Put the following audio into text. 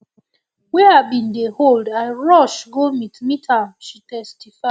wey i bin dey hold i rush go meet meet am she testify